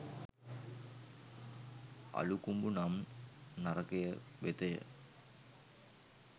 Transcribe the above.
අළුකුඹු නම් නරකය වෙතය.